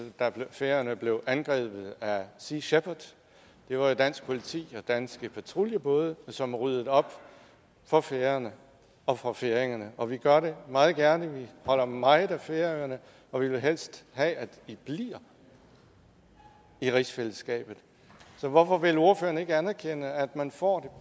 da færøerne blev angrebet af sea shepherd det var jo dansk politi og danske patruljebåde som ryddede op for færøerne og for færingerne og vi gør det meget gerne vi holder meget af færøerne og vi vil helst have at i bliver i rigsfællesskabet så hvorfor vil ordføreren ikke anerkende at man får